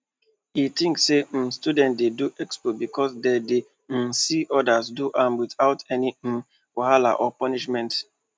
e think say um students dey do expo because dem dey um see others do am without any um wahala or punishment